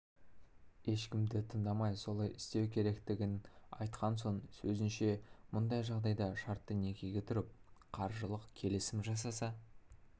ешкімді тыңдамай солай істеу керектігін айтқан оның сөзінше мұндай жағдайда шартты некеге тұрып қаржылық келісімжасаса